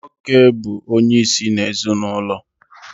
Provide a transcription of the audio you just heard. Nwoke bụ onyeisi ezinụlọ